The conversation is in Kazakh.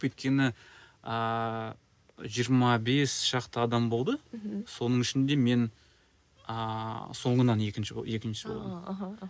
өйткені ыыы жиырма бес шақты адам болды мхм соның ішінде мен ыыы соңынан екінші екінші болдым мхм